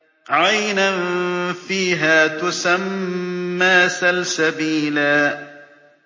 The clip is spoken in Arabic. عَيْنًا فِيهَا تُسَمَّىٰ سَلْسَبِيلًا